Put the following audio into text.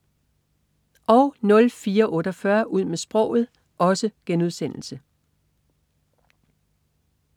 04.48 Ud med sproget*